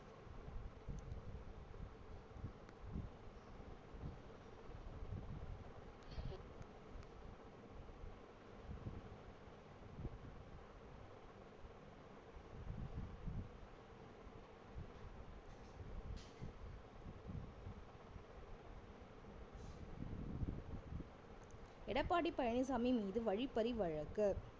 எடப்பாடி பழனிசாமி மீது வழிப்பறி வழக்கு